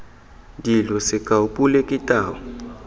dilo sekao pule ke tau